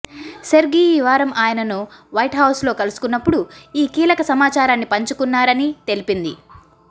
Sergei ఈ వారం ఆయనను వైట్హౌస్ లో కలుసుకున్నప్పుడు ఈ కీలక సమాచారాన్ని పంచుకున్నారని తెలిపింది